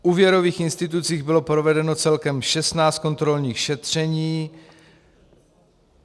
V úvěrových institucích bylo provedeno celkem 16 kontrolních šetření.